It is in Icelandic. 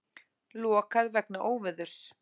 Lokað vegna óveðurs